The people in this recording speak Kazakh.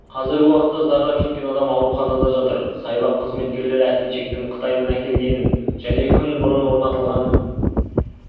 қазіргі уақытта зардап шеккен адам ауруханада жатыр саябақ қызметкерлері әткеншектің қытайдан әкелгенін және күн бұрын орнатылғанын